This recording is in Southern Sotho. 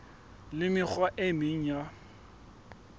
le mekgwa e meng ya